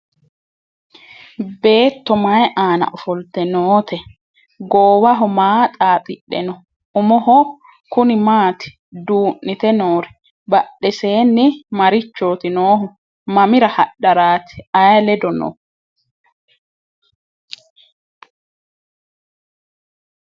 Beetto may aanna ofollitte nootte? goowaho maa xaaxidhe noo? Umoho kunni maatti duu'nitte noori? Badheessenni marichooti noohu? Mamira hadharaatti? Ayi ledo noo?